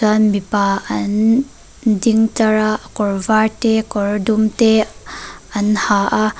mipa an ding tlar a ann kawr var te kawr dum te an ha a.